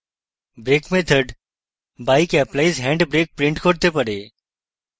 brake method bike applies hand brake print করতে পারে